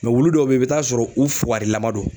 wulu dɔw bɛ ye i bi taa sɔrɔ u fugari lama do.